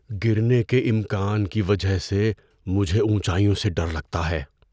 گرنے کے امکان کی وجہ سے مجھے اونچائیوں سے ڈر لگتا ہے۔